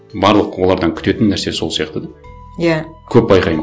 барлық олардан күтетін нәрсе сол сияқты да иә көп байқаймын